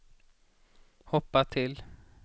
hoppa till